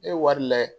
E ye wari layɛ